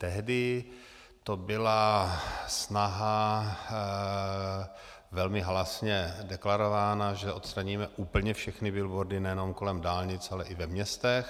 Tehdy to byla snaha, velmi halasně deklarovaná, že odstraníme úplně všechny billboardy nejenom kolem dálnic, ale i ve městech.